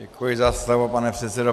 Děkuji za slovo, pane předsedo.